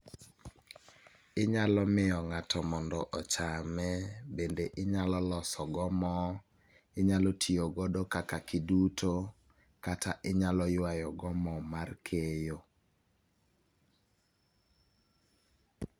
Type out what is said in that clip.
Inyalo mio ng'ato mondo ochame, bende inyalo losogo moo, inyalo tiogodo kaka kiduto, kata inyalo ywayogo mo mar keyo.